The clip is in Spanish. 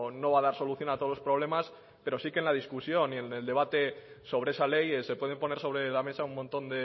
no va a dar solución a todos los problemas pero sí que en la discusión y en el debate sobre esa ley se pueden poner sobre la mesa un montón